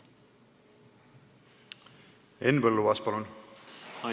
Henn Põlluaas, palun!